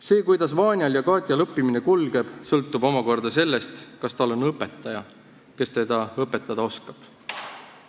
See, kuidas Vanjal ja Katjal õppimine kulgeb, sõltub omakorda sellest, kas neil on õpetaja, kes neid õpetada oskab.